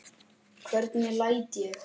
Hvernig læt ég.